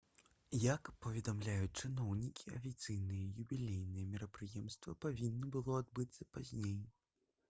як паведамляюць чыноўнікі афіцыйнае юбілейнае мерапрыемства павінна было адбыцца пазней